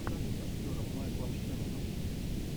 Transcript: покажи с актером майклом шиноном